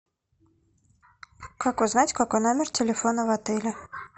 как узнать какой номер телефона в отеле